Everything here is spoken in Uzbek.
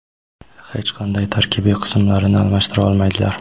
hech qanday tarkibiy qismlarini almashtira olmaydilar.